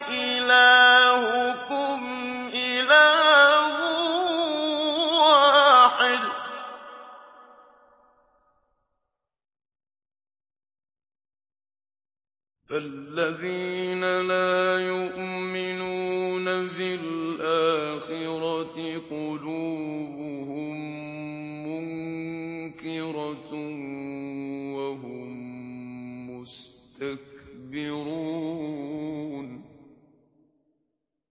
إِلَٰهُكُمْ إِلَٰهٌ وَاحِدٌ ۚ فَالَّذِينَ لَا يُؤْمِنُونَ بِالْآخِرَةِ قُلُوبُهُم مُّنكِرَةٌ وَهُم مُّسْتَكْبِرُونَ